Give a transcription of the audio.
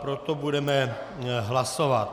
Proto budeme hlasovat.